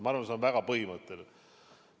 Ma arvan, et see on väga põhimõtteline.